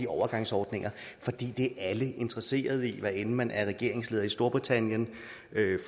overgangsordninger for det er alle interesseret i hvad enten man er regeringsleder i storbritannien